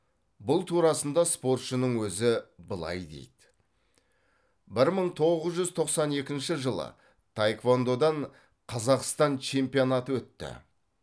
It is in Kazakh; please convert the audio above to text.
бұл турасында спортшының өзі былай дейді бір мың тоғыз жүз тоқсан екінші жылы таеквондодан қазақстан чемпионаты өтті